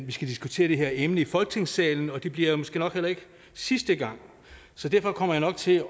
vi skal diskutere det her emne i folketingssalen og det bliver måske nok heller ikke sidste gang så derfor kommer jeg nok til